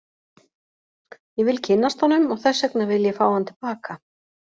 Ég vil kynnast honum og þess vegna vil ég fá hann til baka.